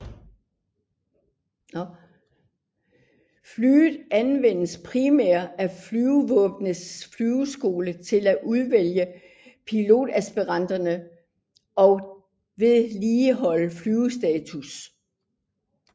Flyet anvendes primært af Flyvevåbnets flyveskole til at udvælge pilotaspiranter og vedligeholde flyvestatus